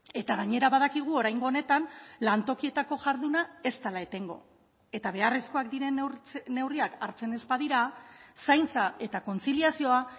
eta gainera badakigu oraingo honetan lantokietako jarduna ez dela etengo eta beharrezkoak diren neurriak hartzen ez badira zaintza eta kontziliazioa